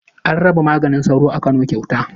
An raba maganin sauro a Kano kyauta.